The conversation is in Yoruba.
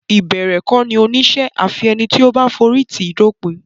Ìbẹ̀rẹ̀ kọ́ ni oníṣẹ́ a fi ẹni tó bá forí tì í dópin.